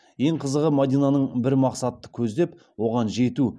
ең қызығы мадинаның бір мақсатты көздеп оған жету